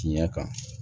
Tiɲɛ kan